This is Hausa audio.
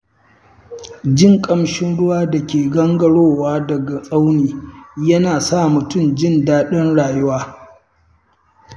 Jin ƙamshin ruwan da ke gangarowa daga tsauni yana sa mutum jin daɗin rayuwa.